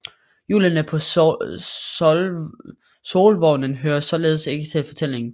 Hjulene på solvognen hører således ikke til fortællingen